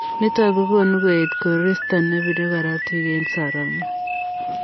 Nitok kokonuu koet koristoo nepiree korotik eng soromok.